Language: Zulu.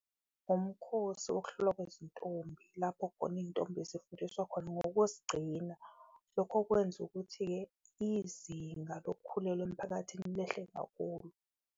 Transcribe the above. Umkhosi wokuhlolwa kwezintombi lapho khona iyintombi zifundiswa khona ngokuzigcina, lokho okwenza ukuthi-ke izinga lokukhulelwa emphakathini lehle kakhulu.